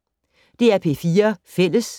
DR P4 Fælles